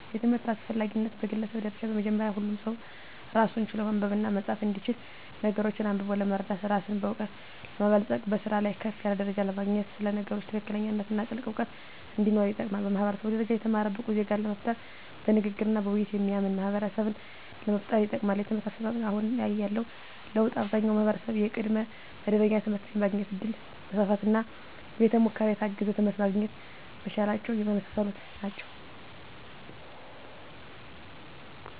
የትምህርት አስፈላጊነት በግለሰብ ደረጃ በመጀመሪያ ሁሉም ሰው ራስን ችሎ ማንበብና መፃፍ እንዲችል ነገሮችን አንብቦ ለመረዳት ራስን በእውቀት ለማበልፀግ በስራ ላይ ከፍ ያለ ደረጃ ለማግኘት ስለ ነገሮች ትክክለኛነትና ጥልቅ እውቀት እንዲኖር ይጠቅማል። በማህበረሰብ ደረጃ የተማረ ብቁ ዜጋን ለመፍጠር በንግግርና በውይይት የሚያምን ማህበረሰብን ለመፍጠር ይጠቅማል። የትምህርት አሰጣጥ አሁን ላይ ያለው ለውጥ አብዛኛው ማህበረሰብ የቅድመ መደበኛ ትምህርት የማግኘት እድል መስፋፋትና በቤተ ሙከራ የታገዘ ትምህርት ማግኘት መቻላቸው የመሳሰሉት ናቸው።